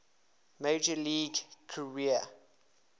major league career